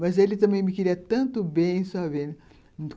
Mas ele também me queria tanto bem, só vendo.